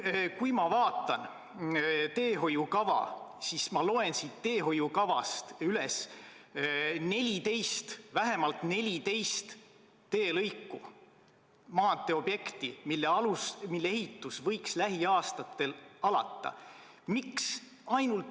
Kui ma vaatan teehoiukava, siis ma loen siit vähemalt 14 teelõiku, maanteeobjekti, mille ehitus võiks lähiaastatel alata.